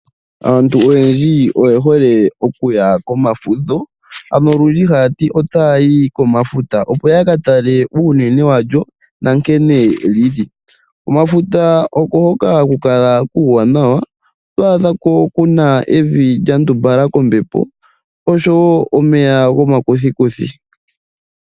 Aantu oyendji oyehole okuya komafudho ano olundji haya ti otaya yi komafuta opo ya katale unene walyo na nkene lili. Komafuta oko hoka haku kala kuwanawa oto adha ko kuna evi lyandumbala kombepo osho wo omeya gomakuthikuthi.